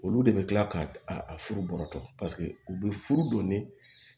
Olu de bɛ tila k'a furu bɔra tɔ paseke u bɛ furu don